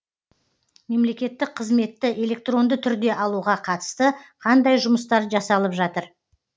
мемлекеттік қызметті электронды түрде алуға қатысты қандай жұмыстар жасалып жатыр